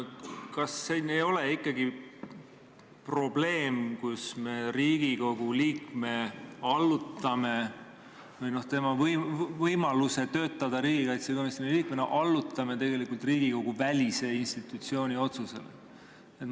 Kas siin ei ole aga ikkagi probleem, kui me Riigikogu liikme või tema võimaluse töötada riigikaitsekomisjoni liikmena allutame tegelikult Riigikogu-välise institutsiooni otsusele?